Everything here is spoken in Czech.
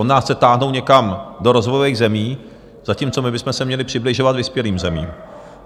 On nás chce táhnout někam do rozvojových zemí, zatímco my bychom se měli přibližovat vyspělým zemím.